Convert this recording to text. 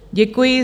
Děkuji.